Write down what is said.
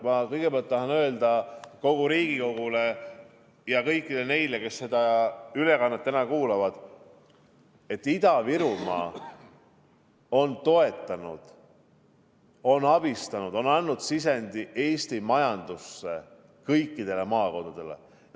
Ma kõigepealt tahan öelda kogu Riigikogule ja kõigile neile, kes seda ülekannet kuulavad, et Ida-Virumaa on toetanud, abistanud ja andnud sisendi Eesti majandusse kõikides maakondades.